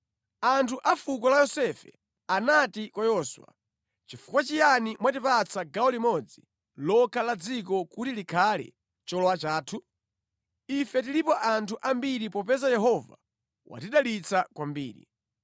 Anthu a fuko la Yosefe anati kwa Yoswa, “Chifukwa chiyani mwatipatsa gawo limodzi lokha la dziko kuti likhale cholowa chathu? Ife tilipo anthu ambiri popeza Yehova watidalitsa kwambiri.”